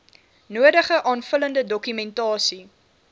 nodige aanvullende dokumentasie